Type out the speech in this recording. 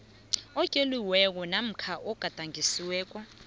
otloliweko namkha ogadangisiweko